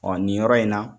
Ɔ nin yɔrɔ in na